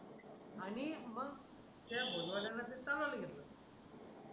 आणि मग त्या फोन वाल्याने ते चालवायला घेतलं